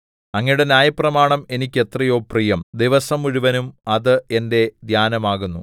അങ്ങയുടെ ന്യായപ്രമാണം എനിക്ക് എത്രയോ പ്രിയം ദിവസം മുഴുവനും അത് എന്റെ ധ്യാനമാകുന്നു